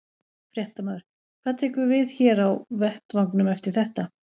Fréttamaður: Hvað tekur við hér á vettvangnum eftir þetta?